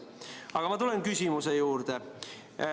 Aga ma tulen küsimuse juurde.